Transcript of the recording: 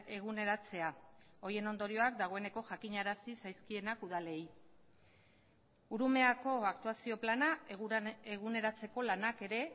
eguneratzea horien ondorioak dagoeneko jakinarazi zaizkienak udalei urumeako aktuazio plana eguneratzeko lanak ere